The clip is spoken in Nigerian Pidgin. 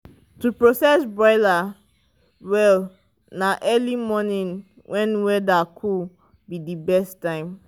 to process broiler well na na early morning when weather cool be the best time.